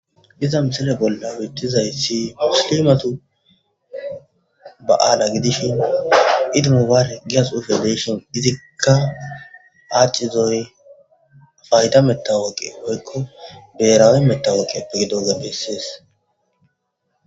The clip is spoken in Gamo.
diza misile bolla wittizaysi muslimatu ba aala gidishin idi mobaarek giya xuufe izikka aacizoy fayida metawooqe woykko beerawe metawooqepe gidoza beessies